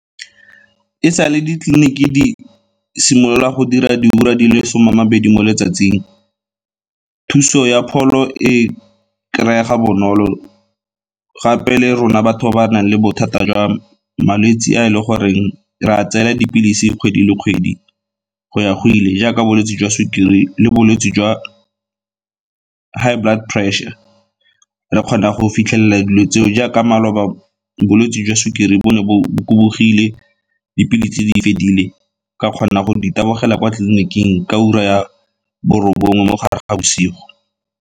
E sa le ditleliniki di simolola go dira di ura di le some a mabedi mo letsatsing, thuso ya pholo e kry-ega bonolo, gape le rona batho ba ba nang le bothata jwa malwetse a e le goreng re a tseela dipilisi kgwedi le kgwedi go ya go ile, jaaka bolwetse jwa sukiri le bolwetse jwa high blood pressure. Re kgona go fitlhelela dilo tseo, jaaka maloba bolwetsi jwa sukiri bo ne bo kubugile, dipilisi tse di fedile ka kgona go di tabogela kwa tleliniking ka ura ya bo robongwe mo gare ga bosigo.